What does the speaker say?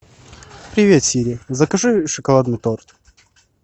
привет сири закажи шоколадный торт